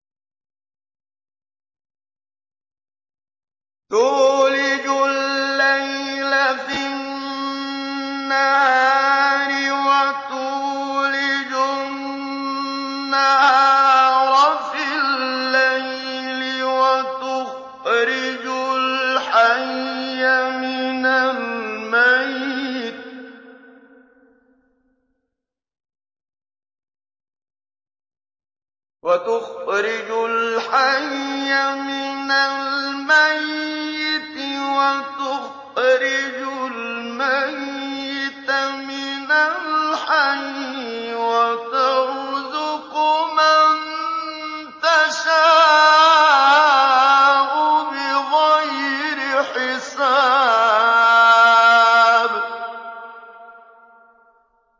تُولِجُ اللَّيْلَ فِي النَّهَارِ وَتُولِجُ النَّهَارَ فِي اللَّيْلِ ۖ وَتُخْرِجُ الْحَيَّ مِنَ الْمَيِّتِ وَتُخْرِجُ الْمَيِّتَ مِنَ الْحَيِّ ۖ وَتَرْزُقُ مَن تَشَاءُ بِغَيْرِ حِسَابٍ